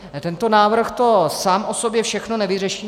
Tento návrh to sám o sobě všechno nevyřeší.